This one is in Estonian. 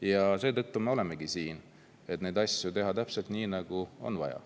Ja seetõttu me olemegi siin, et teha neid asju täpselt nii, nagu on vaja.